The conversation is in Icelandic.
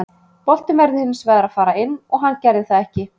Boltinn verður hins vegar að fara inn og hann gerði það ekki.